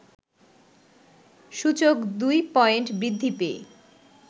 সূচক ২ পয়েন্ট বৃদ্ধি পেয়ে